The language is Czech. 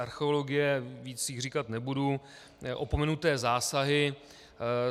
Archeologie, víc jich říkat nebudu, opomenuté zásahy.